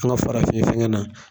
An ka farafin fɛnŋɛ na.